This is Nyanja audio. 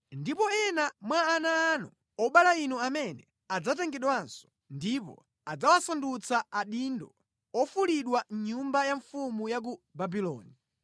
Ndipo ena mwa ana anu, obala inu amene adzatengedwanso, ndipo adzawasandutsa adindo ofulidwa mʼnyumba ya mfumu ya ku Babuloni.”